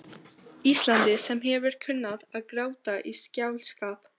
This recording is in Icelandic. Íslandi, sem hefur kunnað að gráta í skáldskap.